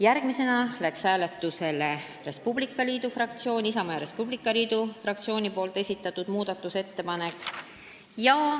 Järgmisena läks hääletusele Isamaa ja Res Publica Liidu fraktsiooni esitatud muudatusettepanek.